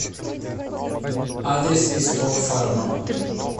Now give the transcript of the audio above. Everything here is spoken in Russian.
адрес исток фарма